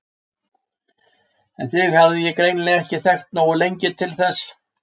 En þig hafði ég greinilega ekki þekkt nógu lengi til þess.